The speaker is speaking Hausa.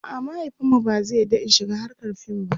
a'a mahaifinmu ba zai yarda In shiga hrkar fim ba